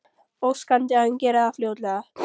Óskandi að hann geri það fljótlega.